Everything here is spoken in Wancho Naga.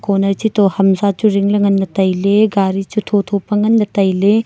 corner che to ham sa hu zing ley ngan ley tailey gari chu tho tho pa ngan ley tailey.